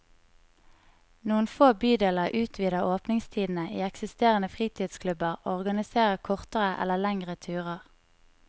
Noen få bydeler utvider åpningstidene i eksisterende fritidsklubber og organiserer kortere eller lengre turer.